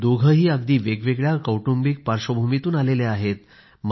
दोघेही अगदी वेगवेगळ्या कौटुंबिक पार्श्वभूमीतून आलेले आहेत